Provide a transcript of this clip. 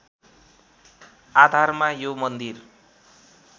आधारमा यो मन्दिर